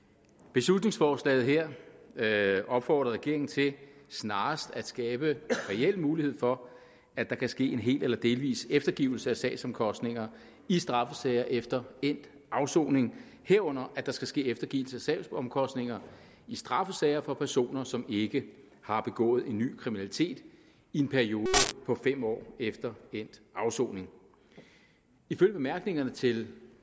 beslutningsforslaget her opfordrer regeringen til snarest at skabe reel mulighed for at der kan ske en hel eller delvis eftergivelse af sagsomkostninger i straffesager efter endt afsoning herunder at der skal ske eftergivelse af sagsomkostninger i straffesager for personer som ikke har begået ny kriminalitet i en periode på fem år efter endt afsoning ifølge bemærkningerne til